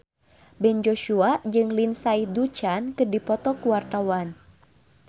Ben Joshua jeung Lindsay Ducan keur dipoto ku wartawan